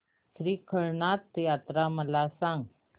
श्री रवळनाथ यात्रा मला सांग